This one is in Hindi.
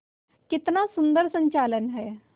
कितना सुंदर संचालन है